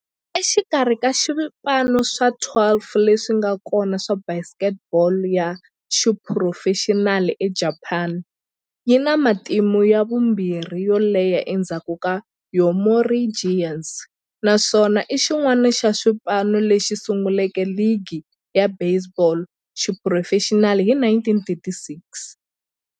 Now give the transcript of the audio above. Exikarhi ka swipano swa 12 leswi nga kona swa baseball ya xiphurofexinali eJapani, yi na matimu ya vumbirhi yo leha endzhaku ka Yomiuri Giants, naswona i xin'wana xa swipano leswi sunguleke ligi ya baseball ya xiphurofexinali hi 1936.